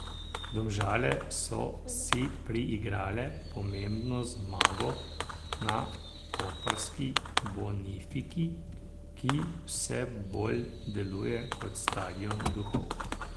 Domžale so si priigrale pomembno zmago na koprski Bonifiki, ki vse bolj deluje kot stadion duhov.